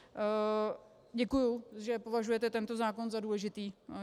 Děkuji, že považujete tento zákon za důležitý.